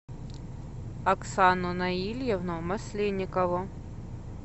оксану наильевну масленникову